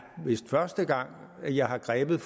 vist første gang jeg har grebet